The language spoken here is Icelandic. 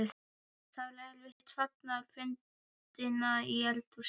Það var eftir fagnaðarfundina í eldhúsinu.